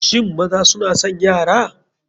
Shin maza suna son yara?